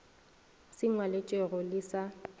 se ngwalwetšwego e le sa